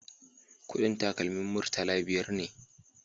Kudin takalmin murtala biyar ne